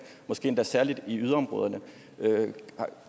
måske endda særlig i yderområderne